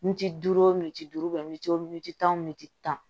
Miniti duuru minti duuru mintiyo miti tan o militi tan